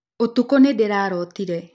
ũtukũ nĩndĩrarotire